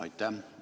Aitäh!